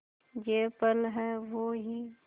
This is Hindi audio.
ये पल हैं वो ही